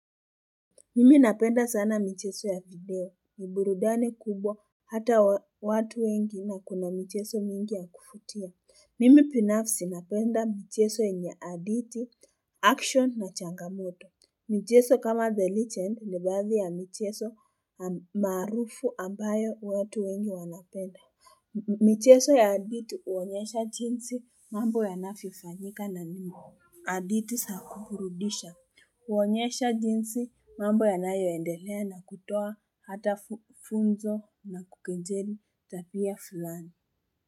Mimi napenda sana mcheso ya video, ni burudani kubwa hata watu wengi na kuna mcheso mingi ya kufutia. Mimi binafsi napenda mchezo yenye hadithi, action na changamoto. Mchezo kama the legend ni baadhi ya michezo maarufu ambayo watu wengi wanapenda. Mchezo ya hadithi huonyesha jinsi mambo yanavyofanyika na mimi. AHadithi za kuburudisha. Huonyesha jinsi mambo yanayoendelea na kutoa hata funzo na kukejeli tabia fulani.